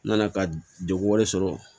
N nana ka degun wɛrɛ sɔrɔ